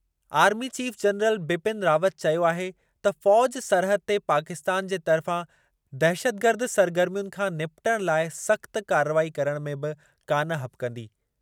Army chief general Bipin Rawat चयो आहे त फ़ौज़ सरहद ते पाकिस्तान जे तरिफ़ा दहशतगर्द सरगर्मियुनि खां निपटणु लाइ सख़्त कार्रवाई करण में बि कान हॿिकंदी।